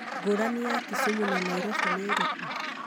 ngũrani ya Kisumu na Nairobi nĩ ĩrĩkũ?